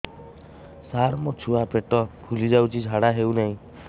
ସାର ମୋ ଛୁଆ ପେଟ ଫୁଲି ଯାଉଛି ଝାଡ଼ା ହେଉନାହିଁ